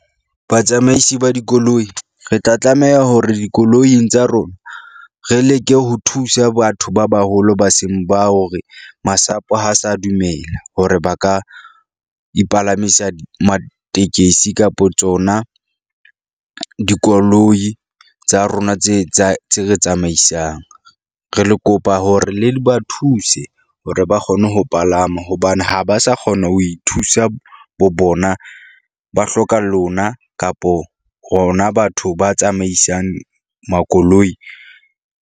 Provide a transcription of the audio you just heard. Batsamaisi ba dikoloi re tla tlameha hore dikoloing tsa rona, re leke ho thusa batho ba baholo, ba seng ba hore masapo ha sa dumela hore ba ka ipalamisa ma tekesi kapa tsona, dikoloi tsa rona tse tse tse re tsamaisang. Re le kopa hore le di ba thuse hore ba kgone ho palama hobane ha ba sa kgona ho ithusa bo bona, ba hloka lona kapo hona batho ba tsamaisang makoloi.